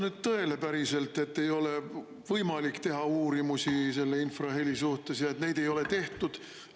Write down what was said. No ei vasta päriselt tõele, et ei ole võimalik teha uurimusi selle infraheli suhtes ja et neid ei ole tehtud.